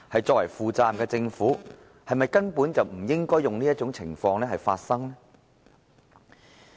作為負責任的政府，是否根本不應該讓這種情況發生呢？